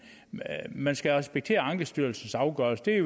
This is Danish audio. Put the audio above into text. man skal respektere ankestyrelsens afgørelse det